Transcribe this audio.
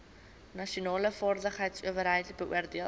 nasionale vaardigheidsowerheid beoordeel